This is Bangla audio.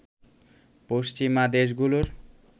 পশ্চিমা দেশগুলোর